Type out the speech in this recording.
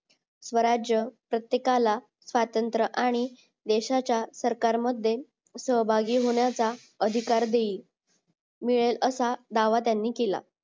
स्वराज्य प्रत्येकाला स्वातंत्र आणि देशाच्या सरकार मध्ये सहभागी होण्याचा अधिकार देईल मिळेल असा दावा त्यांनी केला